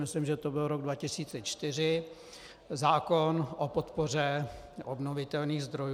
Myslím, že to byl rok 2004, zákon o podpoře obnovitelných zdrojů.